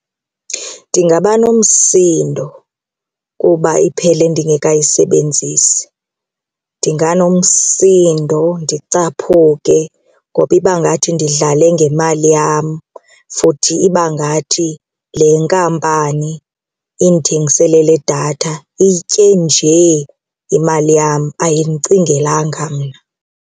Ndingaba nomsindo kuba iphele ndingekayisebenzisi ndinganomsindo ndicaphuke ngoba ibangathi ndidlale ngemali yam futhi ibangathi le nkampani indithengisele le datha iyitye nje imali yam, ayindicingelanga mna.